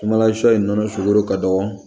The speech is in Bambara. Kumalasɔ in nɔnɔ sugoro ka dɔgɔ